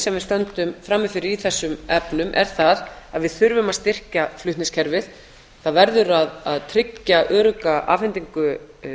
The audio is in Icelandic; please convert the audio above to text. sem við stöndum frammi fyrir í þessum efnum er það að við þurfum að styrkja flutningskerfið það verður að tryggja örugga afhendingu